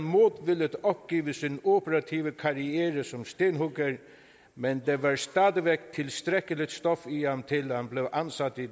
modvilligt opgive sin operative karriere som stenhugger men der var stadig væk tilstrækkeligt stof i ham til at han blev ansat i